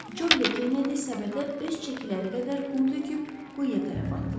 Joli Kenedy səbətə öz çəkiləri qədər qum töküb quyuya tərəf atdılar.